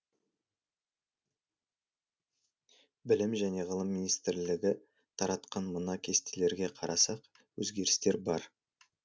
білім және ғылым министрлігі таратқан мына кестелерге қарасақ өзгерістер бар